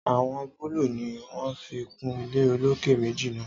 Àwò búlù ni wón fi kun ile olókè méjì náà